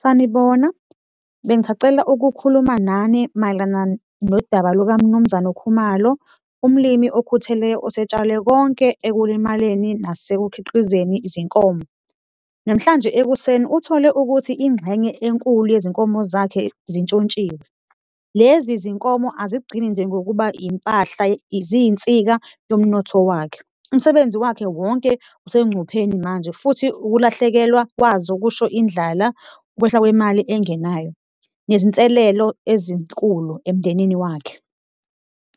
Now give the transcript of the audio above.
Sanibona, bengisacela ukukhuluma nani mayelana nodaba lukaMnumzane uKhumalo, umlimi okhuthele osetshale konke ekulimaleni nasekukhiqizeni izinkomo. Namhlanje ekuseni uthole ukuthi ingxenye enkulu yezinkomo zakhe zintshontshiwe, lezi zinkomo azigcini nje ngokuba impahla, ziyinsika yomnotho wakhe. Umsebenzi wakhe wonke usengcupheni manje futhi ukulahlekelwa kwazo kusho indlala, ukwehla kwemali engenayo nezinselelo ezinkulu emndenini wakhe.